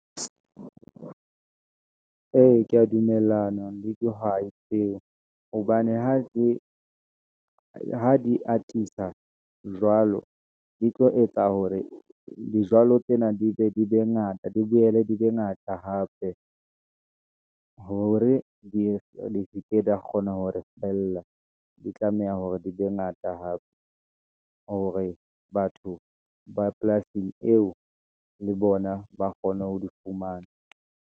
Ee, ke ya dumellana le dihwai tseo, hobane ha di atisa jwalo, di tlo etsa hore dijalo tsena, di be ngata, di boele di be ngata hape , hore di seke di ya kgona hore feella, di tlameha hore di be ngata hape, hore batho ba polasing eo, le bona ba kgone ho di fumana.